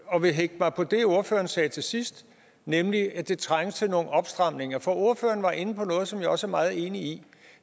og vil hægte mig på det ordføreren sagde til sidst nemlig at der trænges til nogle opstramninger for ordføreren var inde på noget som jeg også er meget enig i